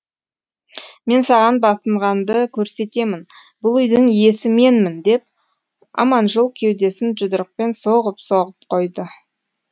мен саған басынғанды көрсетемін бұл үйдің иесі менмін деп аманжол кеудесін жұдырықпен соғып соғып қойды